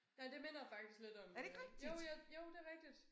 Nej minder faktisk lidt om øh jo jeg jo det rigtigt